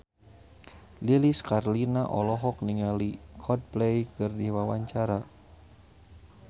Lilis Karlina olohok ningali Coldplay keur diwawancara